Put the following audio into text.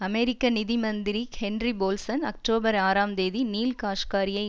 அமெரிக்க நிதி மந்திரி Henry Paulson October ஆறாம் தேதி நீல் காஷ்காரியை